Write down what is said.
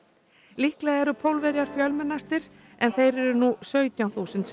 líklega eru Pólverjar fjölmennastir en þeir eru nú sautján þúsund